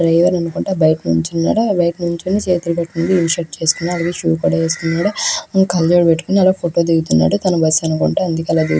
Driver అనుకుంట బైట నించుకున్నారు. ఇన్షిర్ట్ చేసుకున్నాడు. షూస్ వేసుకున్నాడు. ఫోటో దిగుతున్నాడు. తన బస్సు అనుకుంట అందుకే ఆలా --